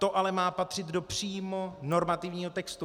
To ale má patřit přímo do normativního textu.